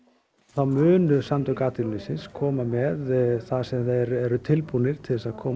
þá munu Samtök atvinnulífsins koma með það sem þeir eru tilbúnir til þess að koma